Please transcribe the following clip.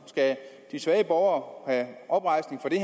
skal de svage borgere have oprejsning for det